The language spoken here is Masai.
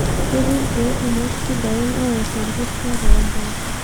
Ketii irkeek kumok sidain oor orkuto too mpoosho